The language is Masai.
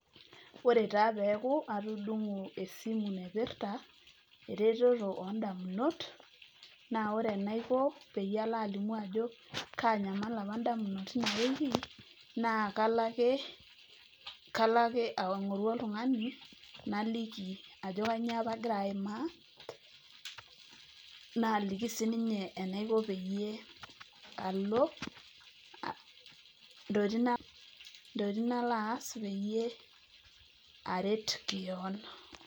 Oore taa peyie eaku atudung'o esimu naipirta eretoto odamunot, naa oore enaiko peyie aalo alimu aajo kanyamal aapa idamunot teina wiki, naa kalo aake, kaalo aake ang'oru oltung'ani naliki aajo kanyoo aapa agira aimaa naliki sininye enaiko peyie aalo, intokitin naalo aas peyie areet keon.